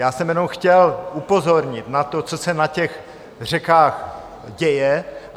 Já jsem jenom chtěl upozornit na to, co se na těch řekách děje.